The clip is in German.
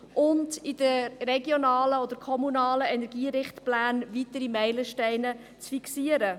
Zudem sind in den regionalen und kommunalen Energierichtplänen weitere Meilensteine zu fixieren.